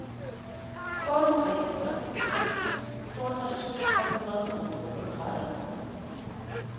otte tre nul seks toogtres fem hundrede og femogtredive